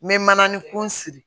N bɛ mananin kun siri